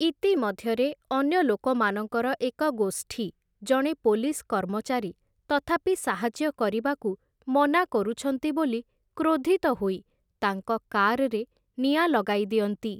ଇତିମଧ୍ୟରେ, ଅନ୍ୟ ଲୋକମାନଙ୍କର ଏକ ଗୋଷ୍ଠୀ, ଜଣେ ପୋଲିସ୍‌ କର୍ମଚାରୀ ତଥାପି ସାହାଯ୍ୟ କରିବାକୁ ମନା କରୁଛନ୍ତି ବୋଲି କ୍ରୋଧିତ ହୋଇ, ତାଙ୍କ କାର୍‌ରେ ନିଆଁ ଲଗାଇଦିଅନ୍ତି ।